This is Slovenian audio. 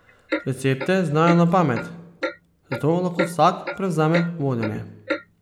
Recepte znajo na pamet, zato lahko vsak prevzame vodenje.